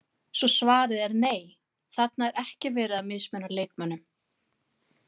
Svo svarið er nei, þarna er ekki verið að mismuna leikmönnum.